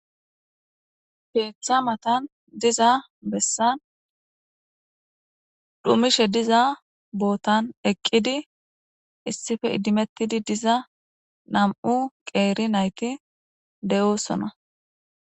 Peeththa matan diza bessan dhumishe diza bootan eqqidi issife idimettidi diza nam7u qeeri nayti de7oosona.